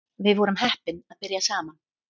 Við vorum heppin að byrja saman